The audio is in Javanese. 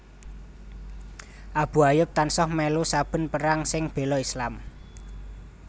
Abu Ayyub tansah mèlu saben perang sing béla Islam